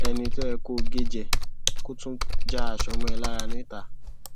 ẹni tó yẹ kó gé e jẹ kó tún já aṣọ mọ ẹ lára níta